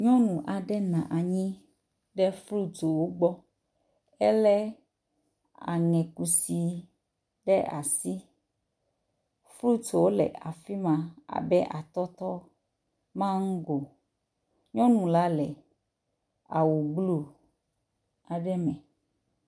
Nyɔnu aɖe nɔ anyi ɖe frut wo gbɔ, elé aŋe kusi ɖe asi. Frutwo le afi ma abe atɔtɔ, amango, nyɔnu la le awu blu aɖe me.